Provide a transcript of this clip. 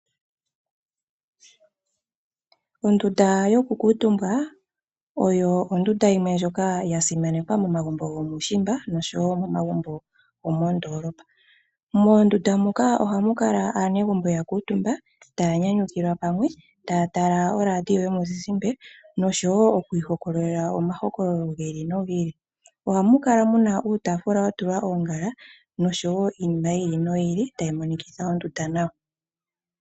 Ondunda yokukuutumbwa oyo ondunda yimwe ndjoka ya simanekwa momagumbo gomuushimba oshowo momagumbo gomoondolopa moondndunda muka ohamu kala aanegumbo taa nyanyukilwa pamwe taya ihokolole omakololo gi ili nogili ili yo tya tala oradio yomulzizimba ohamu kala oongaala noshowo iinima yili noyili tayi monikitha ondunda nawa.